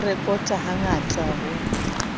ya ho rekota hangata ho